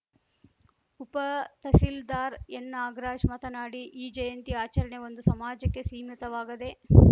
ಉಪತಹಸೀಲ್ದಾರ್‌ ಎನ್‌ನಾಗರಾಜ್‌ ಮಾತನಾಡಿ ಈ ಜಯಂತಿ ಆಚರಣೆ ಒಂದು ಸಮಾಜಕ್ಕೆ ಸೀಮಿತವಾಗದೇ